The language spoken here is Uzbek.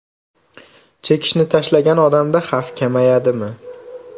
Chekishni tashlagan odamda xavf kamayadimi?